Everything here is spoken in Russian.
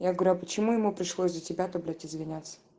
я говорю а почему ему пришлось за тебя-то блять извиняться